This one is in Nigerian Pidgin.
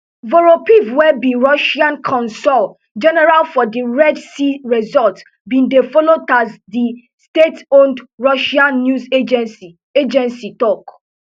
voropaev wey be russia consul general for di red sea resort bin dey follow tass di stateowned russian news agency agency tok